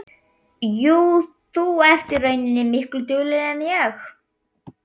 Jú, þú ert í rauninni miklu duglegri en ég.